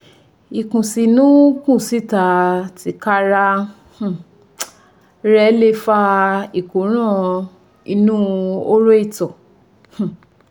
Ìkùnsínú kùnsíta tika ra um rẹ̀ ò lè fa ìkóràn inú horo ìtọ̀ um